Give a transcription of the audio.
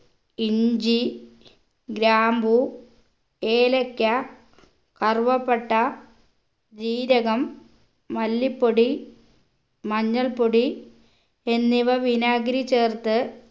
ഇഞ്ചി ഗ്രാമ്പൂ ഏലക്ക കറുവപ്പട്ട ജീരകം മല്ലിപ്പൊടി മഞ്ഞൾപ്പൊടി എന്നിവ വിനാഗിരി ചേർത്ത്